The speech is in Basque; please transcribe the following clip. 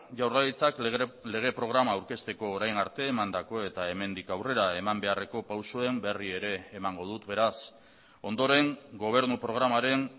jaurlaritzak lege programa aurkezteko orain arte emandako eta hemendik aurrera eman beharreko pausuen berri ere emango dut beraz ondoren gobernu programaren